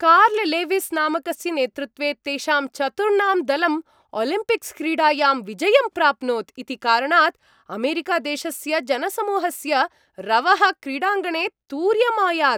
Carl Lewis नामकस्य नेतृत्वे तेषां चतुर्णां दलं ओलिम्पिक्स् क्रीडायां विजयं प्राप्नोत् इति कारणात् अमेरिकादेशस्य जनसमूहस्य रवः क्रीडाङ्गणे तूर्यमयात्।